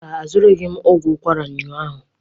Mba, azụrụghị m ogwu ukwara ụnyahụ.